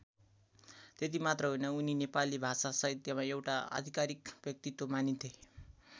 त्यति मात्र होइन उनी नेपाली भाषासाहित्यमा एउटा आधिकारिक व्यक्तित्व मानिन्थे।